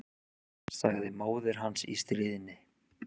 sagði móðir hans í stríðni.